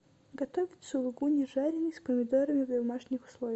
готовить сулугуни жаренный с помидорами в домашних условиях